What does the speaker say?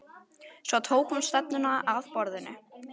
Svo tók hún stefnuna að borðinu.